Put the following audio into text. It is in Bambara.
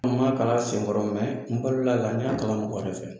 An ma kalan senkɔrɔ n balola a la n y'a kalan senfɛ